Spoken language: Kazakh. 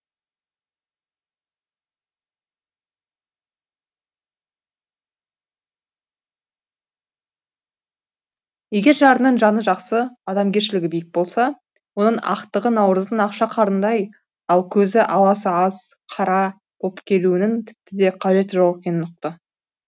егер жарыңның жаны жақсы адамгершілігі биік болса оның ақтығы наурыздың ақша қарындай ал көзі аласы аз қара боп келуінің тіпті де қажеті жоқ екенін ұқты